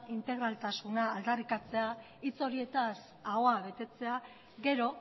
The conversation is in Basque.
integraltasuna aldarrikatzea hitz horietaz ahoa betetzea gero